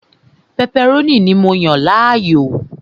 pẹpẹrónì ni mó fẹràn ju